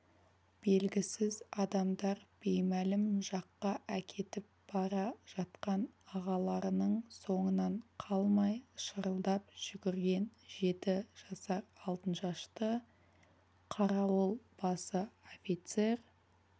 белгісіз адамдар беймәлім жаққа әкетіп бара жатқан ағаларының соңынан қалмай шырылдап жүгірген жеті жасар алтыншашты қарауыл басы офицер